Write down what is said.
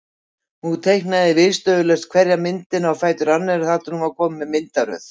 Hún teiknaði viðstöðulaust hverja myndina á fætur annarri þar til hún var komin með myndaröð.